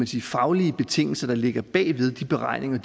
de faglige betingelser der ligger bag ved de beregninger